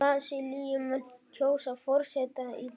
Brasilíumenn kjósa forseta í dag